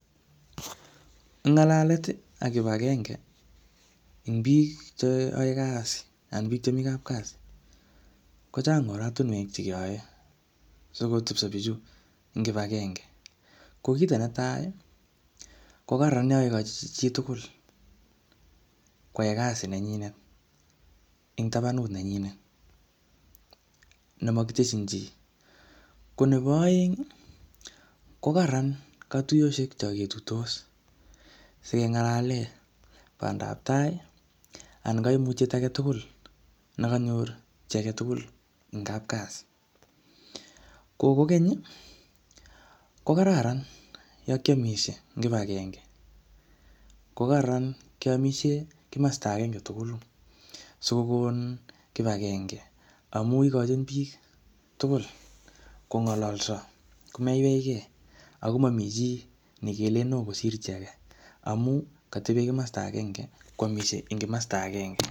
Ngalalet ak kibagenge, ing biik che ae kasi, anan biik chemii kapkasi, kochang oratunwek che keyae sikotebso bichu eng kibagenge. Ko kito netai, ko kararan yakekochi chitugul koae kasit nenyinet ing tabanut nenyinet ne makiteshin chi. Ko nebo aeng, ko kararan katuyoshek cho ketuitos, sikengalale bandab tai, anan kaimutiet age tugul ne kanyor chi age tugul eng kapkasi. Ko kokeny, ko kararan yo kiamishie eng kibagenge. Ko kararan keamisie kimasta agenge tugulu sikokon kibagenge. Amu ikochin biik tugul kongololso, komeiweike, ako mami chii, ne kelen oo kosir age amu katebe kimasta agenge, kwamisie eng kimasta agenge.